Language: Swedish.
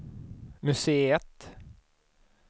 museet